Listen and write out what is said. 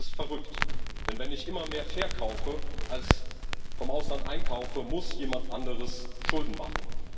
Das ist verrückt Denn wenn ich immer mehr verkaufe als vom Ausland einkaufe, muss jemand anderes Schulden machen.